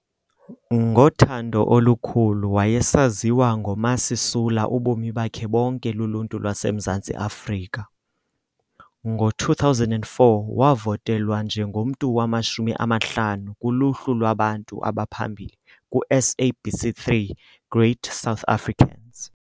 Ngothando olukhulu wayesaziwa ngoMa Sisula ubomi bakhe bonke luluntu lwaseMzantsi Afrika. Ngo-2004 wavotelwa njengomntu wamashumi amahlanu kuluhlu lwabantu abaphambili ku-SABC 3 Great South Africans.